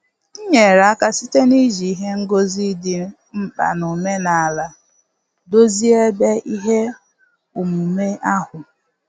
M nyere aka site na-iji ihe ngosi dị mkpa n'omenala dozie ebe ihe omume ahụ.